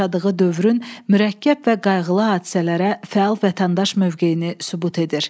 yaşadığı dövrün mürəkkəb və qayğılı hadisələrə fəal vətəndaş mövqeyini sübut edir.